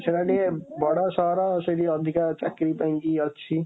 ସେଇଟା ଟିକେ ବଡ଼ ସହର, ସେଥି ଅଧିକା ଚାକିରୀ ପାଇଁ କି ଅଛି।